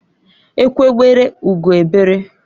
Egwe bere ugo bere.